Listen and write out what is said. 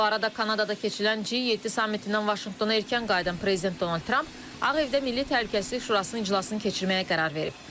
Bu arada Kanadada keçirilən G7 sammitindən Vaşinqtona erkən qayıdan prezident Donald Tramp Ağ Evdə Milli Təhlükəsizlik Şurasının iclasını keçirməyə qərar verib.